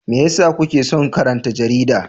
Me yasa kuke son karanta jarida?